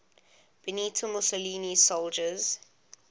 benito mussolini's soldiers